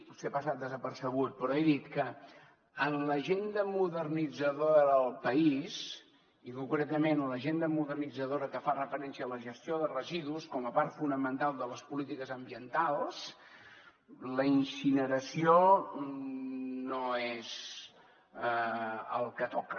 potser ha passat desapercebut però he dit que en l’agenda modernitzadora del país i concretament en l’agenda modernitzadora que fa referència a la gestió de residus com a part fonamental de les polítiques ambientals la incineració no és el que toca